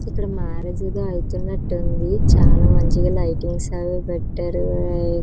ఇక్కడ మ్యారేజ్ అవుతున్నట్టుగా ఉంది చాలా మంచిగుంది లైటింగ్స్ అవి పెట్టారు.